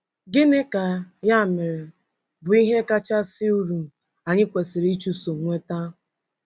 Gịnị ka, ya mere, bụ ihe kachasị uru anyị kwesịrị ịchụso inweta?